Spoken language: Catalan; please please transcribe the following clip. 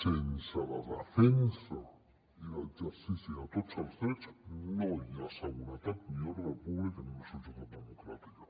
sense la defensa i l’exercici de tots els drets no hi ha seguretat ni ordre públic en una societat democràtica